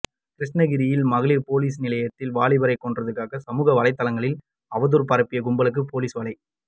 கிருஷ்ணகிரியில் மகளிர் போலீஸ் நிலையத்தில் வாலிபரை கொன்றதாக சமூக வலைத்தளங்களில் அவதூறு பரப்பிய கும்பலுக்கு போலீஸ் வலை